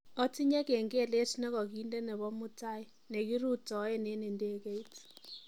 otinye kengelet negoginde nebo mutai negirutoen en indegeit